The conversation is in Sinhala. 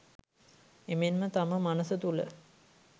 එමෙන්ම තම මනස තුළ